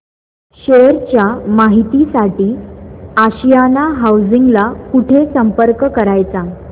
share च्या माहिती साठी आशियाना हाऊसिंग ला कुठे संपर्क करायचा